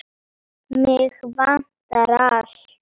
Mig vantar allt.